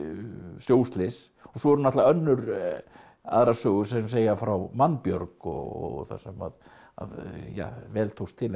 sjóslys og svo eru náttúrulega aðrar sögur sem segja frá mannbjörg og þar sem að ja vel tókst til en